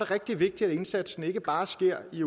rigtig vigtigt at indsatsen ikke bare sker i